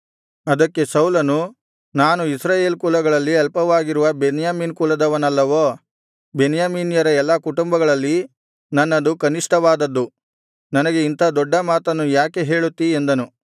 ಅದಕ್ಕೆ ಸೌಲನು ನಾನು ಇಸ್ರಾಯೇಲ್ ಕುಲಗಳಲ್ಲಿ ಅಲ್ಪವಾಗಿರುವ ಬೆನ್ಯಾಮೀನ್ ಕುಲದವನಲ್ಲವೋ ಬೆನ್ಯಾಮೀನ್ಯರ ಎಲ್ಲಾ ಕುಟುಂಬಗಳಲ್ಲಿ ನನ್ನದು ಕನಿಷ್ಠವಾದದ್ದು ನನಗೆ ಇಂಥ ದೊಡ್ಡ ಮಾತನ್ನು ಯಾಕೆ ಹೇಳುತ್ತೀ ಎಂದನು